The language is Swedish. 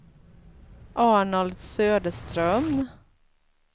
Arnold Söderström